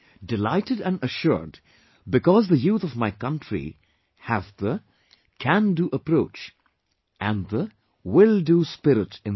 Delighted and assured because the youth of my country has the 'Can Do' approach and the 'Will Do' spirit in them